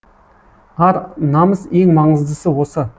ар намыс ең маңыздысы осы